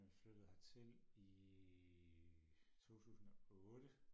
jeg flyttede hertil i 2008